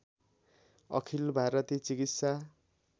अखिल भारती चिकित्सा